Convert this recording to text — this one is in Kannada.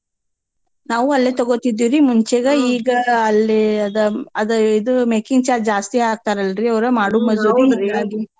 ನಾವೂ ಅಲ್ಲೇ ತಗೋತೀದ್ವಿರೀ ಮುಂಚೆೇಗ ಈಗ ಅಲ್ಲೇ ಅದ ಇದು making charge ಜಾಸ್ತಿ ಹಾಕ್ತಾರಲ್ರಿ ಅವ್ರು ಮಾಡು ಮಜೂರೀ ಹೀಂಗಾಗಿ.